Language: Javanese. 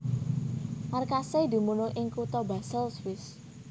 Markasé dumunung ing kutha Basel Swiss